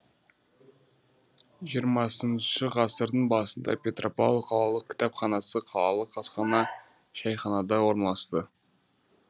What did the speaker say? жиырмасыншы ғасырдың басында петропавл қалалық кітапханасы қалалық асхана шайханада орналасты